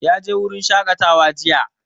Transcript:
Ya je wurin shaƙatawa jiya.